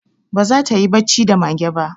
Ba za ta yi bacci da mage ba